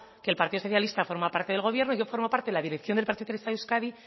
que el partido socialista forma parte del gobierno yo formo parte la dirección del partido socialista de euskadi